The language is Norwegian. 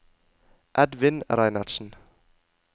Edvin Reinertsen